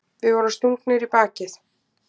Við vorum stungnir í bakið.